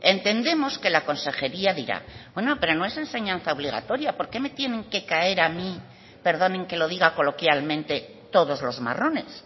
entendemos que la consejería dirá bueno pero no es enseñanza obligatoria por qué me tienen que caer perdonen que lo diga coloquialmente todos los marrones